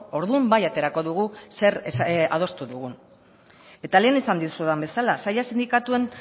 orduan bai aterako dugu zer adostu dugun eta lehen esan dizudan bezala saila sindikatuen